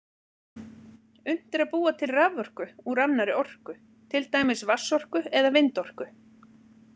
Unnt er að búa til raforku úr annarri orku, til dæmis vatnsorku eða vindorku.